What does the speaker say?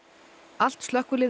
allt slökkvilið